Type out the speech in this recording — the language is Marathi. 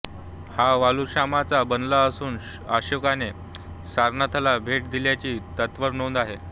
हा वालुकाश्माचा बनला असून अशोकाने सारनाथला भेट दिल्याची त्यावर नोंद आहे